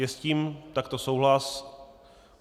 Je s tím takto souhlas?